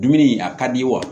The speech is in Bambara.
Dumuni a ka di ye wa